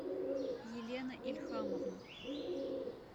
елена ильхамовна